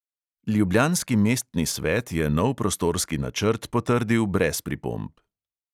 Ljubljanski mestni svet je nov prostorski načrt potrdil brez pripomb.